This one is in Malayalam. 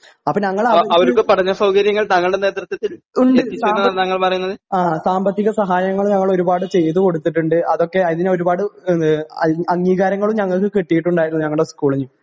അപ്പോ ഞങ്ങള് അവര്ക്ക് ഉണ്ട് സാമ്പ ആ സാമ്പത്തിക സഹായങ്ങള് ഞങ്ങളൊരുപാട് ചെയ്തു കൊടുത്തിട്ടുണ്ട് അതൊക്കെ അതിനൊരുപാട് ഏഹ് അം അംഗീകാരങ്ങളും ഞങ്ങൾക്ക് കിട്ടിയിട്ടുണ്ടായിരുന്നു ഞങ്ങടെ സ്കൂളിന്